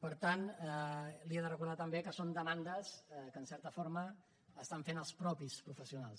per tant li he de recordar també que són demandes que en certa forma fan els mateixos professionals